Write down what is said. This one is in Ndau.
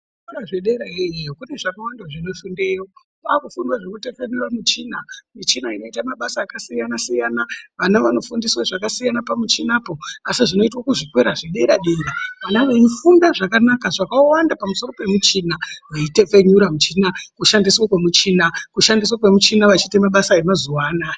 Zvikora zvederoyo iyo kune zvakawanda zvino fundweyo kwaakufundwe zvinotekenyura muchina michina inoita mabasa akasiyanasiyana vana vanofundiswe zvakasiyana pamuchinipo asi zvinoitwe kuzvikora zvederadera vana veifunda zvakanaka zvakawanda pamusoro pemuchina veitekenyura muchina kushandiswa kwemuchina kushandiswa kwemuchina vachiita mabasa emazuwa anaya.